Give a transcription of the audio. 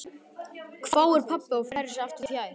hváir pabbi og færir sig aftur fjær.